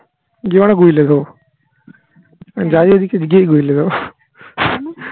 আমি